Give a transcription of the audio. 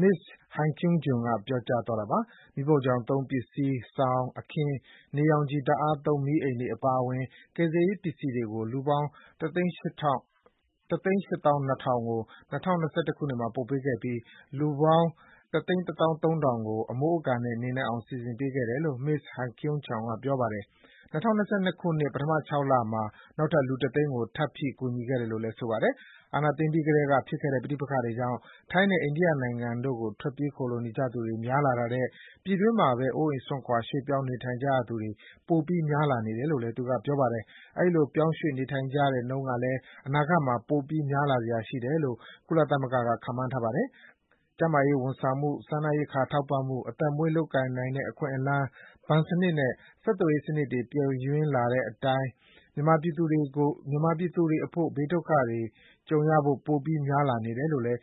မစ္စ (Hai Kyung Jun) က ရေးထားတာ ဖြစ်ပါတယ်။ မီးဖိုချောင်သုံးပစ္စည်း၊ စောင်၊ အခင်း၊ နေရောင်ခြည် ဓာတ်အားသုံး မီးအိမ်တွေအပါအဝင် ကယ်ဆယ်ရေးပစ္စည်းတွေကို လူပေါင်း ၁၈၂,၀၀၀ ကို ၂၀၂၁ ခုနှစ်မှာ ပံ့ပိုးခဲ့တယ်လို့ ဆိုပါတယ်။ လူပေါင်း ၁၁၃,၀၀၀ ကို အမိုးအကာနဲ့ နေနိုင်အောင် စီစဉ်ပေးခဲ့တယ်လို့ မစ္စ ဟိုင်ကယွန်ဂျန် က ပြောပါတယ်။ ၂၀၂၂ ခုနှစ် ပထမ ၆ လမှာ နောက်ထပ် လူ ၁ သိန်းကို ထပ်ဖြည့်ကူညီခဲ့တယ်လို့ ဆိုပါတယ်။ အာဏာသိမ်းပြီးကတည်းက ဖြစ်ခဲ့တဲ့ပဋိပက္ခတွေကြောင့် ထိုင်းနိုင်ငံနဲ့ အိန္ဒိယနိုင်ငံတို့ဘက် ထွက်ပြေးခိုလှုံနေကြရသူတွေ များလာတာထက် ပြည်တွင်းမှာပဲ အိုးအိမ် စွန့်ခွါ ပြောင်းရွှေ့ နေထိုင်နေကြရသူတွေ ပိုပြီးများပြားနေတယ်လို့ သူမက ဆိုပါတယ်။ အဲဒီလို ပြောင်းရွှေ့နေထိုင်ကြတဲ့ နှုန်းကလည်း အနာဂတ်မှာ ပိုပြီး များလာစရာ ရှိတယ်လို့ ကုလသမဂ္ဂက ခန့်မှန်းထားတာပါ။ ကျန်းမာရေးဝန်ဆောင်မှု၊ စားနပ်ရိက္ခာ ထောက်ပံ့မှု၊ အသက်မွေးလုပ်ကိုင်နိုင်တဲ့အခွင့်အလမ်း၊ ဘဏ်စနစ်နဲ့ ဆက်သွယ်ရေးစနစ်တွေ ပျက်ယွင်းလာတဲ့အတိုင်း မြန်မာပြည်သူတွေအဖို့ ဘေးဒုက္ခ ကြုံရခြေ ပိုပြီး များပြားလာနေတယ်လိုလည်း